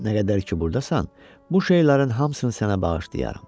Nə qədər ki, burdasan, bu şeylərin hamısını sənə bağışlayaram.